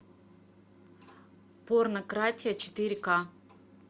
порнократия четыре ка